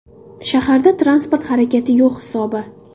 Shaharda transport harakati yo‘q hisobi.